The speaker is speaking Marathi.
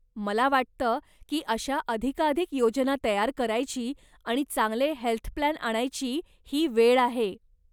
मला वाटतं की अशा अधिकाधिक योजना तयार करायची आणि चांगले हेल्थ प्लॅन आणायची ही वेळ आहे.